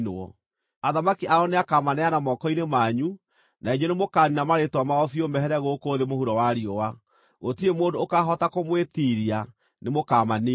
Athamaki ao nĩakamaneana moko-inĩ manyu, na inyuĩ nĩmũkaniina marĩĩtwa mao biũ mehere gũkũ thĩ mũhuro wa riũa. Gũtirĩ mũndũ ũkaahota kũmwĩtiiria; nĩ mũkaamaniina.